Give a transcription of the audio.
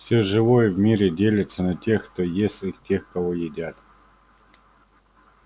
всё живое в мире делится на тех кто ест и тех кого едят